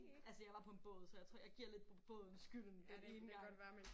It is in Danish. Altså jeg var på en båd så jeg tror jeg giver lidt båden skylden den ene gang